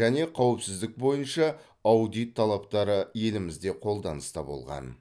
және қауіпсіздік бойынша аудит талаптары елімізде қолданыста болған